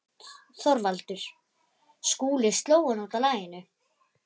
ÞORVALDUR: Skúli sló hann út af laginu.